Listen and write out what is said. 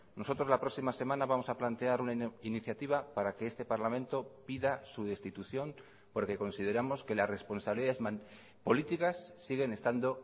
nosotros la próxima semana vamos a plantear una iniciativa para que este parlamento pida su destitución porque consideramos que las responsabilidades políticas siguen estando